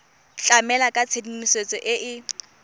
tlamela ka tshedimosetso e e